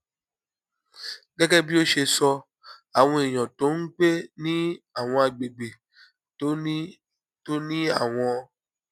gégé bí ó ṣe sọ àwọn èèyàn tó ń gbé ní àwọn àgbègbè tó ní tó ní àwọn